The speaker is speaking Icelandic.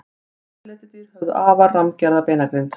Risaletidýr höfðu afar rammgerða beinagrind.